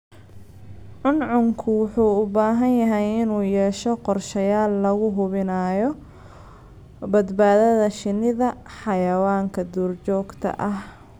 Cuncunku wuxuu u baahan yahay inuu yeesho qorshayaal lagu hubinayo badbaadada shinnida xayawaanka duurjoogta ah.